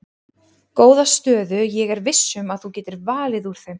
Góða stöðu ég er viss um að þú getur valið úr þeim.